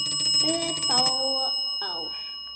Örfá ár.